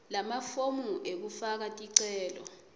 lamafomu ekufaka ticelo